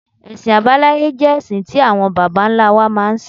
Ẹ̀sìn abáláyé jẹ́ ẹ̀sìn tí àwọn bàbá ńlá wa máa ń sìn.